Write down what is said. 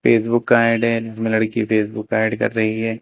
Facebook का ad है जिसमें लड़की फेसबुक का ऐड कर रही है।